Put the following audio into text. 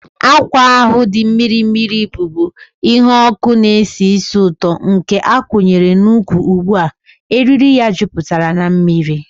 Akwa ahụ dị mmiri mmiri, bụ́bu ihe ọkụ na-esi ísì ụtọ, nke a kwụnyere n'ụkwwụ ugbu a, eriri ya jupụtara na mmiri.